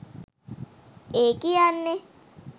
ඒ කියන්නෙ